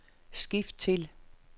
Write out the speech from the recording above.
skift til